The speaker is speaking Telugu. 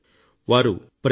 వారు ప్రజలను అనుసంధానించారు